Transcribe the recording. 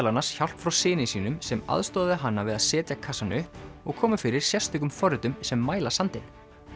annars hjálp frá syni sínum sem aðstoðaði hana við að setja kassann upp og koma fyrir sérstökum forritum sem mæla sandinn